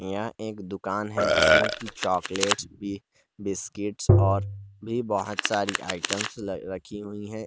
यहां एक दुकान है जिसमें की चॉकलेट्स भी बिस्किट्स और भी बहोत सारी आइटम्स रखी हुई है।